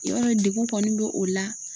Yɔrɔ degun kɔni bɛ o la.